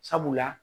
Sabula